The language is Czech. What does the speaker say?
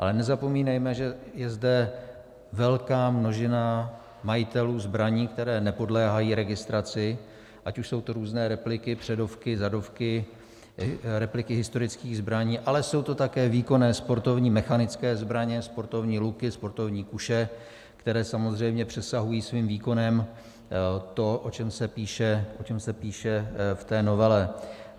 Ale nezapomínejme, že je zde velká množina majitelů zbraní, které nepodléhají registraci, ať už jsou to různé repliky, předovky, zadovky, repliky historických zbraní, ale jsou to také výkonné sportovní mechanické zbraně, sportovní luky, sportovní kuše, které samozřejmě přesahují svým výkonem to, o čem se píše v té novele.